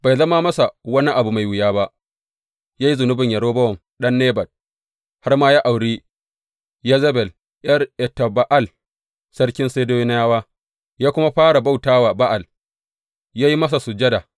Bai zama masa wani abu mai wuya ba, yă yi zunuban Yerobowam ɗan Nebat, har ma ya auri Yezebel ’yar Etba’al sarkin Sidoniyawa, ya kuma fara bauta wa Ba’al, ya yi masa sujada.